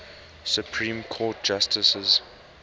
supreme court justices